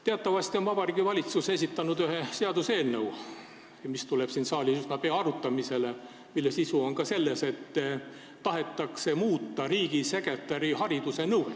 Teatavasti on Vabariigi Valitsus esitanud ühe seaduseelnõu, mis tuleb siin saalis üsna pea arutamisele ja mille sisu on ka selles, et tahetakse muuta riigisekretäri hariduse nõuet.